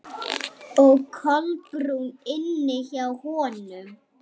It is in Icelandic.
Og Kolbrún inni hjá honum.